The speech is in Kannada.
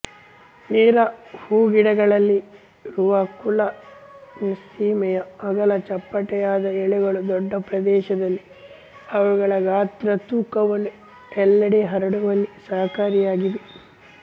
ನೀರ ಹೂಗಿಡಗಳಲ್ಲಿರುವಕುಲ ನಿಮ್ಫೆಸಿಯೆ ಅಗಲ ಚಪ್ಪಟೆಯಾದ ಎಲೆಗಳು ದೊಡ್ಡ ಪ್ರದೇಶದಲ್ಲಿ ಅವುಗಳ ಗಾತ್ರ ತೂಕವನ್ನು ಎಲ್ಲೆಡೆ ಹರಡುವಲ್ಲಿ ಸಹಕಾರಿಯಾಗಿವೆ